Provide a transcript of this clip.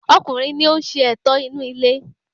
Ọkùnrin ni oún ṣe ẹ̀tọ́ inú ilé